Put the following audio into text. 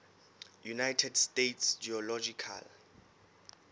united states geological